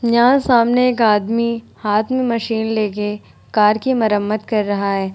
यहाँ सामने एक आदमी हाथ में मशीन लेके कार की मरम्मत कर रहा है ।